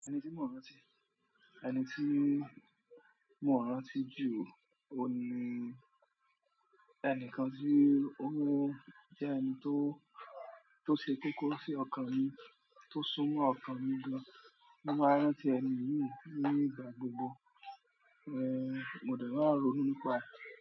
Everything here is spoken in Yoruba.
Ẹni tí mo rántí, ẹni tí mo rántí jù ó ni ẹnìkan tí ó jẹ́ ẹni tó, tó ṣe kókó sí ọkàn mi, tó súnmọ́ ọkàn mi gan-an. Mo maa n rántí ẹni yìí ní ìgbà gbogbo. Ehn, mo dẹ̀ ma ronu ni pa e.